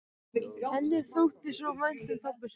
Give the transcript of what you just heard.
Henni þótti svo vænt um pabba sinn.